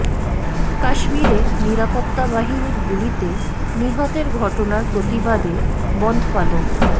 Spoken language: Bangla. কাশ্মিরে নিরাপত্তা বাহিনীর গুলিতে নিহতের ঘটনার প্রতিবাদে বনধ পালন